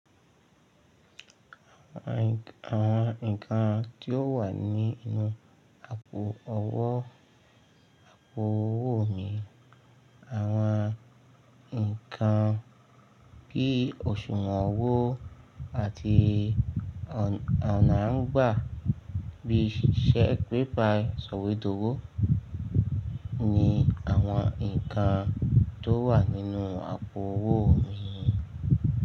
Àwọn nǹkan tí ó wà nínú àpo owó, àpo owó mi, àwọn nǹkan bí i òṣùwọ̀n owó àti ọ̀nà à ń gbà bí i ṣẹ́ pé pay, sọ̀wédowó ni àwọn nǹkan tó wà nínú àpo owó mi.